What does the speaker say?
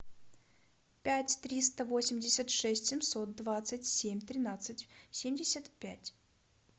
пять триста восемьдесят шесть семьсот двадцать семь тринадцать семьдесят пять